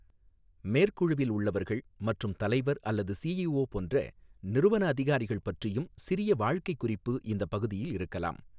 மேற்குழுவில் உள்ளவர்கள் மற்றும் தலைவர் அல்லது சிஈஓ போன்ற நிறுவன அதிகாரிகள் பற்றியும் சிறிய வாழ்க்கைக் குறிப்பு இந்தப் பகுதியில் இருக்கலாம்.